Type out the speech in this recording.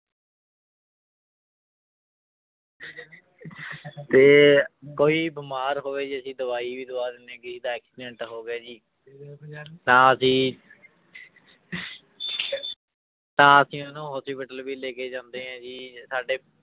ਤੇ ਕੋਈ ਬਿਮਾਰ ਹੋਵੇ ਜੀ ਅਸੀਂ ਦਵਾਈ ਵੀ ਦਵਾ ਦਿੰਦੇ ਹਾਂ ਕਿਸੇ ਦਾ accident ਹੋ ਗਿਆ ਜੀ ਤਾਂ ਅਸੀਂ ਤਾਂ ਅਸੀਂ ਉਹਨੂੰ hospital ਵੀ ਲੈ ਕੇ ਜਾਂਦੇ ਹਾਂ ਜੀ ਸਾਡੇ